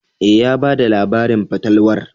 E, ya ba da labarin fatalwar.